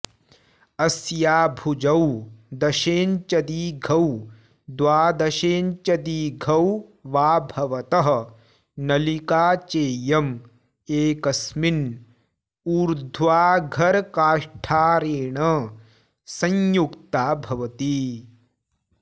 अस्या भुजौ दशेञ्चदीघौ द्वादशेञ्चदीघौ वा भवतः नलिका चेयं एकस्मिन् ऊर्ध्वाघरकाष्ठारेण संयुक्ता भवति